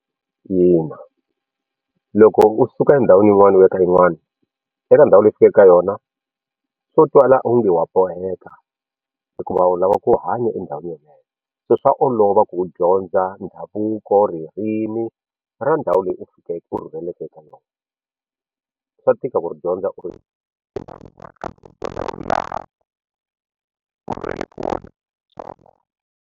Ina loko u suka endhawini yin'wana u ya ka yin'wana eka ndhawu leyi u fikeke eka yona swo twa laha u nge wa boheka hikuva u lava ku hanya endhawini yeleyo so swa olova ku u dyondza ndhavuko ririmi ra ndhawu leyi u u rhurheleke eka yona swa tika ku dyondza u .